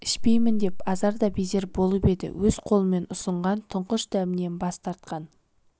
ішпеймін деп азар да безер болып еді өз қолымен ұсынған тұңғыш дәмінен бас тартқан